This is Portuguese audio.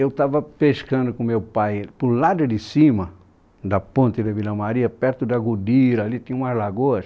Eu estava pescando com meu pai, para o lado de cima da ponte da Vila Maria, perto da Godira, ali tinha umas lagoas.